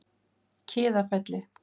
Kiðafelli